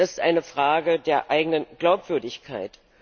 Das ist eine Frage der eigenen Glaubwürdigkeit.